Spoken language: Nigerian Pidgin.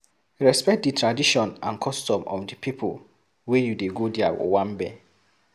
Respect di tradition and customs of di pipo wey you dey go their owambe